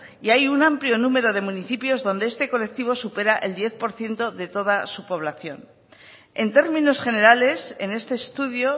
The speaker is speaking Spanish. y hay un amplio número de municipios donde este colectivo supera el diez por ciento de toda su población en términos generales en este estudio